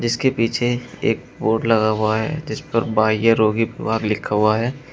जिसके पीछे एक बोर्ड लगा हुआ है जिस पर बाह्य रोगी विभाग लिखा हुआ है।